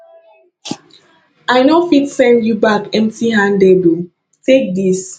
i no fit send you back emptyhanded o take this